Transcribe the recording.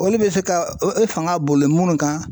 Olu bɛ se ka fanga boli minnu kan.